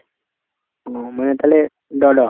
মানে তালে draw draw ?